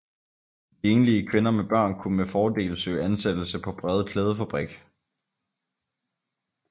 De enlige kvinder med børn kunne med fordel søge ansættelse på Brede klædefabrik